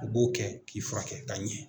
A b'o kɛ k'i furakɛ ka ɲɛ